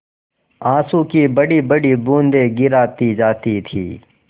आँसू की बड़ीबड़ी बूँदें गिराती जाती थी